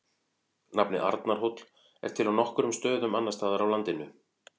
Nafnið Arnarhóll er til á nokkrum stöðum annars staðar á landinu.